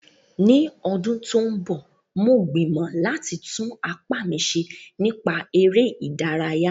Ní ọdún tó ń bọ̀, mo gbìmọ̀ láti tún apá mi ṣe nípa eré ìdárayá